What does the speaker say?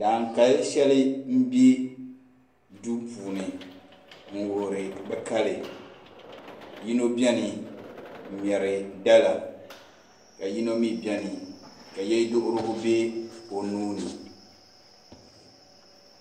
Daankali sheli n bɛ duu puuni n wuhiri bi kali yino bɛni n ŋmeri dala ka yino mi bɛni ka yeduhirigu bɛ o nuuni.